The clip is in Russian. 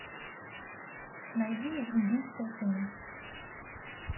найди индийское кино